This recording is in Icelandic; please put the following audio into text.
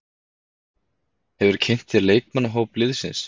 Hefurðu kynnt þér leikmannahóp liðsins?